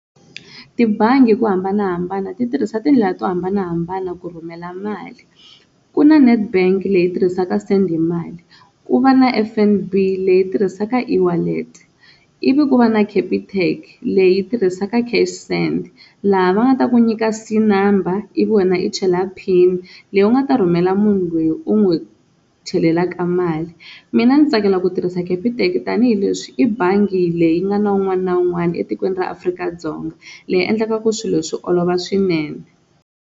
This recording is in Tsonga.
Tibangi hi ku hambanahambana ti tirhisa tindlela to hambanahambana ku rhumela mali, ku na Nedbank leyi tirhisaka ku send hi mali, ku va na F_N_B leyi tirhisaka e-wallet-e, ivi ku va na Capitec leyi tirhisaka cash send laha va nga ta ku nyika C-number ivi wena i chela pin leyi u nga ta rhumela munhu loyi u n'wi chelelaka mali, mina ndzi tsakela ku tirhisa Capitec tanihileswi i bangi leyi nga na un'wana na un'wana etikweni ra Afrika-Dzonga leyi endlekaku swilo swi olova swinene.